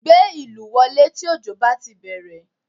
Gbé ìlù wọlé tí òjò bá ti bẹ̀rẹ̀